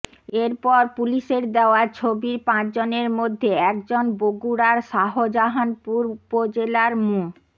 এরপর পুলিশের দেওয়া ছবির পাঁচজনের মধ্যে একজন বগুড়ার শাহজাহানপুর উপজেলার মো